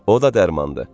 O da dərmandır.